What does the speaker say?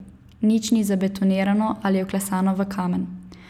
Nič ni zabetonirano ali vklesano v kamen.